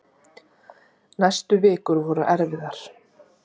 Næstu vikur voru erfiðar.